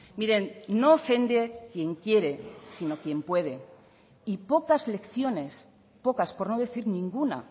miren no ofende quien quiere sino quien puede y pocas lecciones pocas por no decir ninguna